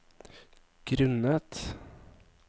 grunnet